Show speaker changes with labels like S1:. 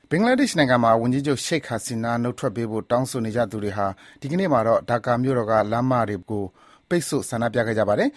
S1: ဘင်္ဂလားဒေ့ရှ်နိုင်ငံမှာ ဝန်ကြီးချုပ် Sheikh Hasina နုတ်ထွက်ပေးဖို့ တောင်းဆိုနေကြသူတွေဟာ ဒီနေ့မှာတော့ ဒါကာမြို့တော်က လမ်းမတွေကို ပိတ်ဆို့ဆန္ဒပြခဲ့ကြပါတယ်